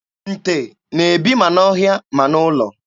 Nte na-ebi ma n'ọhịa ma n'ụlọ.